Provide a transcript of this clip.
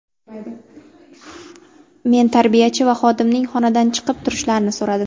Men tarbiyachi va xodimning xonadan chiqib turishlarini so‘radim.